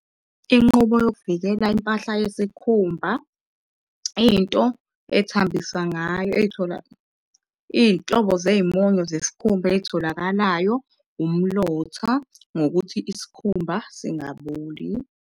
Inqubo yokuvikela impahla yesikhumba, into ethambiswa ngayo ey'thola, iy'nhlobo zey'monyo zesikhumba ey'tholakalayo umlotha ngokuthi isikhumba singaboli.